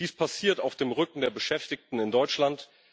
Dies passiert auf dem Rücken der Beschäftigten in Deutschland.